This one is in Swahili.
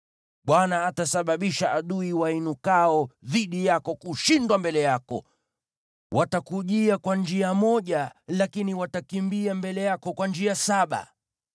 Bwana atasababisha adui wainukao dhidi yako kushindwa mbele yako. Watakujia kwa njia moja lakini watakimbia mbele yako kwa njia saba.